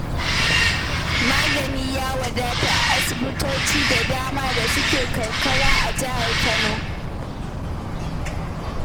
Magani ya wadata a asibitoci da dama da suke karkara a Jihar Kano.